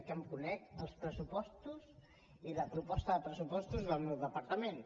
que em conec els pressupostos i la proposta de pressupostos del meu departament